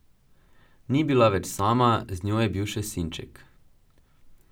Ni bila več sama, z njo je bil še sinček.